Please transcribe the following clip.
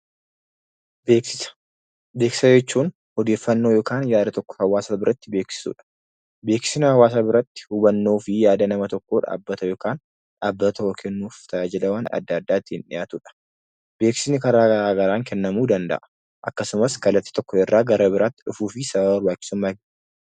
Beeksisa jechuun odeeffannoo yookaan yaada tokko hawaasa biratti beeksisuudha. Beeksisni hawaasa biratti hubannoo fi yaada nama tokkoo dhaabbata yookaan dhaabbata tokkoo kennuuf tajaajilawwan adda addaa ittiin dhiyaatudha. Beeksisni karaa garaa garaan kennamuu danda'a. Akkasumas kallattii tokko irraa gara biraatti dhufuu fi sababa barbaachisummaa.